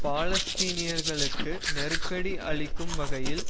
பாலஸ்தீனியர்களுக்கு நெருக்கடி அளிக்கும் வகையில்